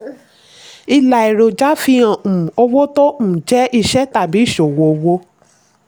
ilà èròjà fi hàn um owó tó um jẹ́ iṣẹ́ tàbí ìṣòwò owó.